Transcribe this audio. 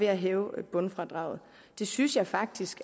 at hæve bundfradraget det synes jeg faktisk